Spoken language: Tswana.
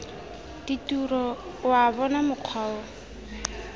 ditiro wa bona mokgwa o